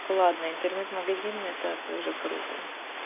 ладно интернет-магазин это тоже круто